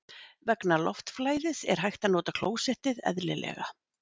Vegna loftflæðis er hægt að nota klósettið eðlilega.